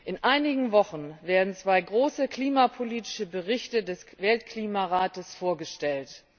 In einigen Wochen werden zwei große klimapolitische Berichte des Weltklimarates vorgestellt.